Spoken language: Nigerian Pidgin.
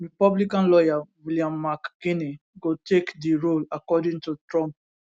republican lawyer william mcginley go take di role according to trump